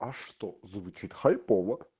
а что звучит хайпово